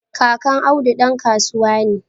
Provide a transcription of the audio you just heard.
Kakan Audu dan kasuwa ne